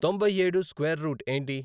తొంభై ఏడు square root ఏంటి